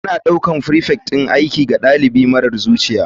Ana ɗaukar prefect ɗin aiki ga ɗalibi marar zuciya.